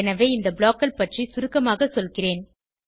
எனவே இந்த ப்ளாக் கள் பற்றி சுருக்கமாக சொல்கிறேன்